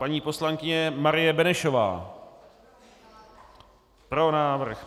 Paní poslankyně Marie Benešová: Pro návrh.